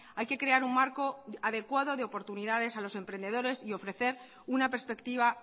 hay que crear un marco adecuado de oportunidades a los emprendedores y ofrecer una perspectiva